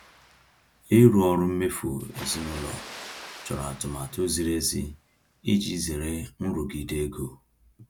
Ịrụ ọrụ mmefu ezinaụlọ chọrọ atụmatụ ziri ezi iji zere nrụgide ego.